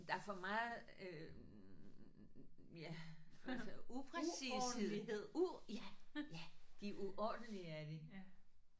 Der for meget øh ja altså upræcished u ja ja de er uordentlige er de